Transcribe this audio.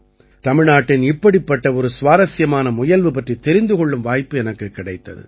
தமிழ்நாட்டின் இப்படிப்பட்ட ஒரு சுவாரசியமான முயல்வு பற்றித் தெரிந்து கொள்ளும் வாய்ப்பு எனக்குக் கிடைத்தது